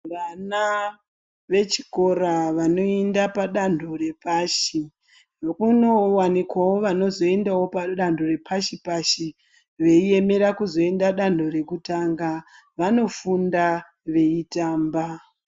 Vana vechikora vanoenda padando repashi kunowanikawo vanozoendawo padando repashi pashi veiemera kuzoenda padando rekutanga vanofunda veitamba.